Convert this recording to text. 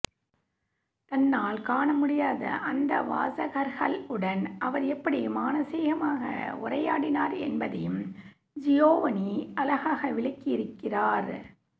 தன்னால் காணமுடியாத அந்த வாசகர்களுடன் அவர் எப்படி மானசீகமாக உரையாடினார் என்பதையும் ஜியோவனி அழகாக விளக்கியிருக்கிறார்